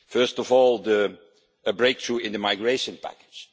First of all, a breakthrough in the migration package.